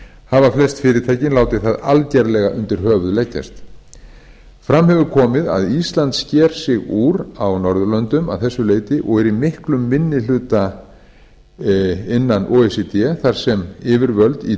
hafa flest fyrirtækin látið það algerlega undir höfuð leggjast fram hefur komið að ísland sker sig úr á norðurlöndum að þessu leyti og er í miklum minni hluta innan o e c d þar sem yfirvöld í